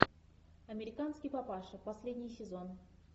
американский папаша последний сезон